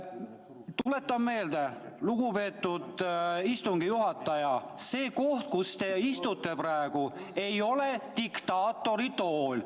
Tuletan meelde, lugupeetud istungi juhataja, et see koht, kus te praegu istute, ei ole diktaatori tool.